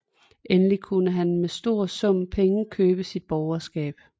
Endelig kunne han mod en stor sum penge købe sig borgerskab